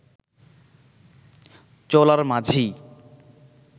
চলার মাঝেই